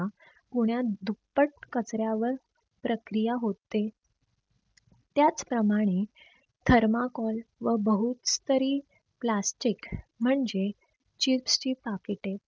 पुण्यात दुप्पट कचऱ्यावर प्रक्रिया होते. त्याच प्रमाणे THERMOCOL व बहुत्तरी plastic म्हणजे CHIPS ची POCKET